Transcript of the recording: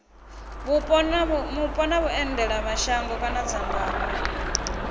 mupo na vhuendelamashango kana dzangano